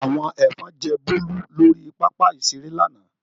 Àwọn ẹ̀fọn jẹ Bólú lórí pápá-ìṣeré lánàá.